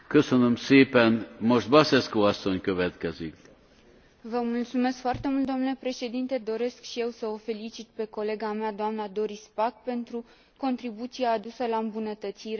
Vă mulțumesc foarte mult domnule președinte, doresc și eu să o felicit pe colega mea, doamna Doris Pack, pentru contribuția adusă la îmbunătățirea acestui program.